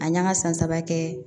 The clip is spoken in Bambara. A n'an ka san saba kɛ